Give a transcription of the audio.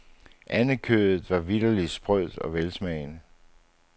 Andekødet var vitterligt sprødt og velsmagende.